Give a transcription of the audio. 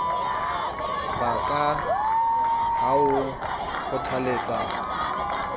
ba ka ha o nkgothaletsa